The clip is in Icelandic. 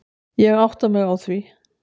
Ég átta mig á því.